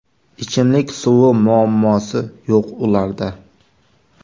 Ichimlik suvi muammosi yo‘q ularda.